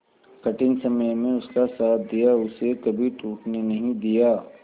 कठिन समय में उसका साथ दिया उसे कभी टूटने नहीं दिया